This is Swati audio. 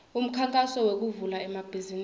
umkhankaso wekuvula emabhizimisi